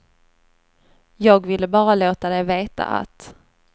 Jag ville bara låta dig veta att.